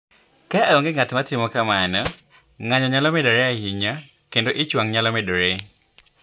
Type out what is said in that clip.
Ka onge ng’at ma timo kamano, ng’anjo nyalo medore ahinya, kendo ich wang’ nyalo medore.